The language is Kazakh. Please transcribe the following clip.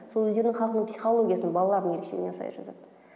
сол өздерінің халқының психологиясына балалардың ерекшелігіне сай жазады